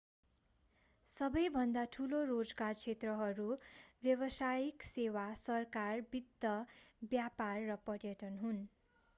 सबै भन्दा ठूलो रोजगार क्षेत्रहरू व्यावसायिक सेवा सरकार वित्त व्यापार र पर्यटन हुन्